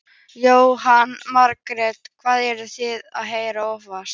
Jóhanna Margrét: Hvað eruð þið að heyra oftast?